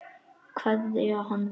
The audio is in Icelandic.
Kveðja hann bara.